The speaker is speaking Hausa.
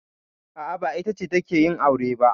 A'a, ba ita ce take yin aure ba.